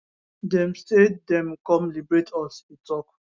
dem say dem come liberate us e tok